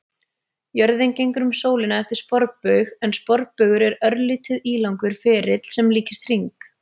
Jörðin gengur um sólina eftir sporbaug en sporbaugur er örlítið ílangur ferill sem líkist hring.